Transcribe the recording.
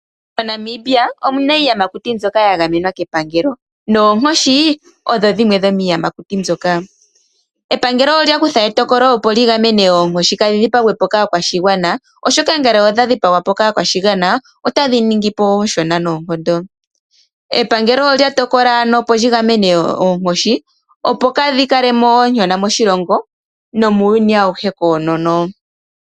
MoNamibia omuna iiyamakuti mbyoka yagamwenwa kepangelo, noonkoshi odho dhimwe dhomiiyamakuti mbyoka. Epangelo olyakutha etokolo opo ligamene oonkoshi kadhi dhipagwe po kaakwashigwana oshoka ngele odhadhipagwa po kaakwashigwana otadhi ningi po ooshona noonkondo. Epangelo olya tokola ano opo ligamene oonkoshi opo kadhikalemo ooshona moshilongo nomuuyuni awuhe koonono.